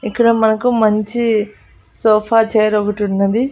ఇక్కడ మనకు మంచి సోఫా చైరొగటున్నది .